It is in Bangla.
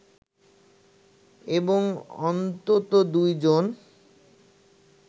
এবং অন্তত দুজন